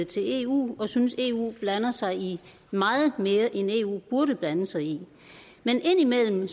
til eu og synes at eu blander sig i meget mere end eu burde blande sig i men indimellem